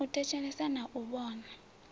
u thetshelesa na u vhona